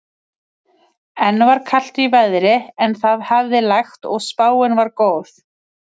Enn var kalt í veðri en það hafði lægt og spáin var góð.